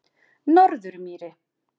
Norðurmýri